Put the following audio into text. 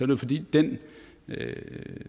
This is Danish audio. det fordi den